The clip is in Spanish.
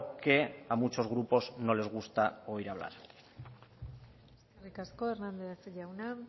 que a muchos grupos no les gusta oír hablar eskerrik asko hernández jauna